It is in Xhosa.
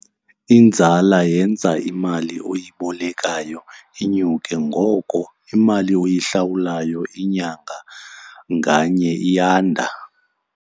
Inzala yenza imali oyibolekayo inyuke, ngoko imali oyihlawulayo inyanga nganye iyanda.